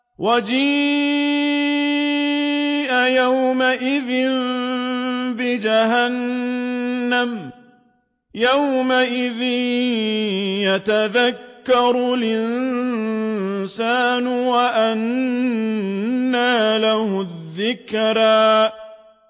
وَجِيءَ يَوْمَئِذٍ بِجَهَنَّمَ ۚ يَوْمَئِذٍ يَتَذَكَّرُ الْإِنسَانُ وَأَنَّىٰ لَهُ الذِّكْرَىٰ